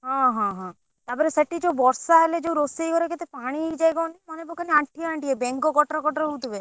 ହଁ ହଁ ତାପରେ ସେଠି ଯଉ ବର୍ଷା ହେଲେ ରୋଷେଇ ଘରେ କେତେ ପାଣି ହେଇଯାଏ କହନି ମାନେ ପକାନି ଆଣ୍ଠିଏ ଆଣ୍ଠିଏ ବେଙ୍ଗ କଟର କଟର ହଉଥିବେ।